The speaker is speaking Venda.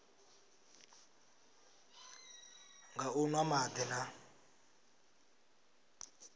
nga u nwa madi na